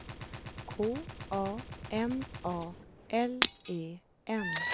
K A N A L E N